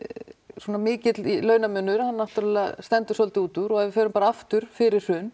svona mikill launamunur hann náttúrulega stendur svolítið út úr og ef við förum bara aftur fyrir hrun